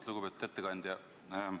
Lugupeetud ettekandja!